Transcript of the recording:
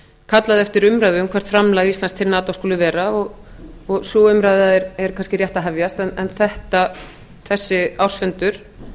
kallað eftir umræðu um hvert framlag íslands til nato skuli vera og sú umræða er kannski rétt að hefjast en þessi ársfundur